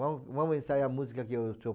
Vamo vamo ensaiar a música que o senhor